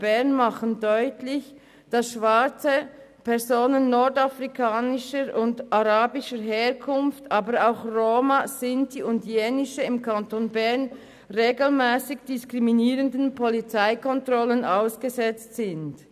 Bern machen deutlich, dass schwarze Personen nordafrikanischer und arabischer Herkunft, aber auch Roma, Sinti und Jenische im Kanton Bern regelmässig diskriminierenden Polizeikontrollen ausgesetzt sind.